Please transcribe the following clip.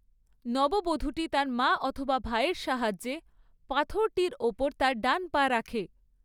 নববধূটি তার মা অথবা ভাইয়ের সাহায্যে পাথরটির ওপর তার ডান পা রাখে।